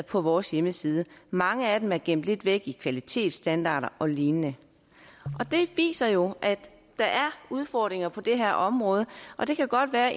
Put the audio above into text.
på vores hjemmeside mange af dem er gemt lidt væk i kvalitetsstandarder og lignende det viser jo at der er udfordringer på det her område og det kan godt være